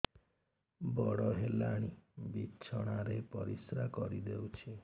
ବଡ଼ ହେଲାଣି ବିଛଣା ରେ ପରିସ୍ରା କରିଦେଉଛି